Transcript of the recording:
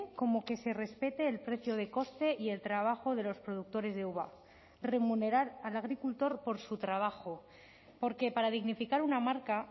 como que se respete el precio de coste y el trabajo de los productores de uva remunerar al agricultor por su trabajo porque para dignificar una marca